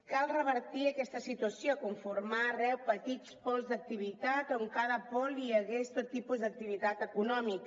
cal revertir aquesta situació confirmar arreu petits pols d’activitat on a cada pol hi hagués tot tipus d’activitat econòmica